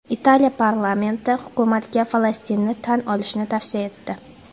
Italiya parlamenti hukumatga Falastinni tan olishni tavsiya etdi.